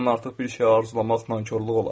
Bundan artıq bir şey arzulamaq nankorluq olardı.